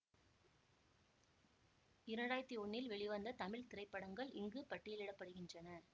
இரண்டாயிரத்தி ஒன்னில் வெளிவந்த தமிழ் திரைப்படங்கள் இங்கு பட்டியலிட படுகின்றன